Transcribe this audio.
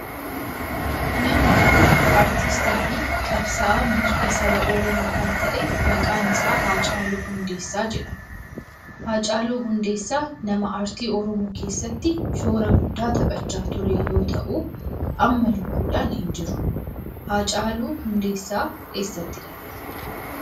Namni kun aartiistii fi qabsa'aa mirga saba oromoo kan ta'e maqaan isaa Haacaaluu Hundeessaa jedhama. Haacaaluu Hundeessaa nama aartii oromoo keessatti shoora guddaa taphachaa ture yoo ta'u amma lubuudhan hin jiru. Haacaaluu Hundeessaa eessatti dhalate?